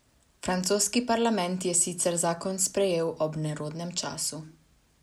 Francoski parlament je sicer zakon sprejel ob nerodnem času.